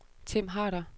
Tim Harder